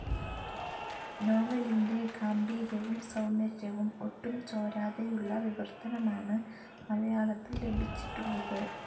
നോവലിന്റെ ഗാംഭീര്യവും സൗന്ദര്യവും ഒട്ടും ചോരാതെയുള്ള വിവർത്തനമാണ് മലയാളത്തിൽ ലഭിച്ചിട്ടുള്ളത്.